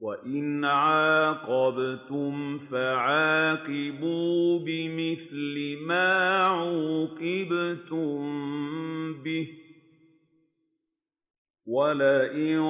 وَإِنْ عَاقَبْتُمْ فَعَاقِبُوا بِمِثْلِ مَا عُوقِبْتُم بِهِ ۖ وَلَئِن